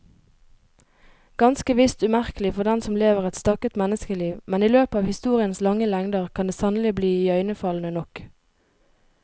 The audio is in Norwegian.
Ganske visst umerkelig for den som lever et stakket menneskeliv, men i løpet av historiens lange lengder kan det sannelig bli iøynefallende nok.